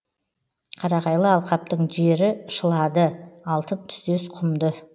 қарағайлы алқаптың жері шылады алтын түстес құмды